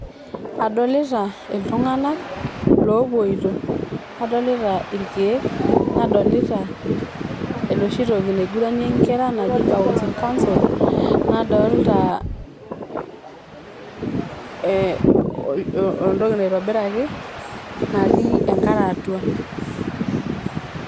adolita iltunganak lopoito ,nadolita ,irkieek, nadolita enoshi toki nadalare nkera naji [cs[bouncing castle nadolita ee oltoki oitobiraki natii enkare atua